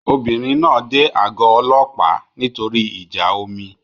Obìnrin náà dé àgọ́ ọlọ́pàá nítorí ìjà omi